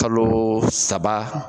Kalo saba.